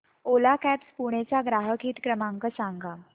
ओला cabs Pune चा ग्राहक हित क्रमांक नंबर सांगा